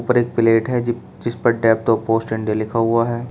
ऊपर एक प्लेट है जी जिस पर डेप्ट ऑफ पोस्ट इंडिया लिखा हुआ है।